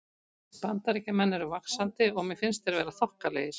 Bandaríkjamenn eru vaxandi og mér finnst þeir vera þokkalegir.